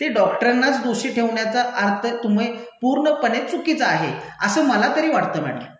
ते डॉक्टरांनाच दोषी ठेवण्याचा अर्थ तुम्ही पूर्णपणे चुकीचा आहे, असं मला तरी वाटतं मैडम.